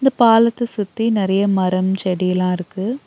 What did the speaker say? பாலத்த சுத்தி நெறைய மரம் செடிலாருக்கு.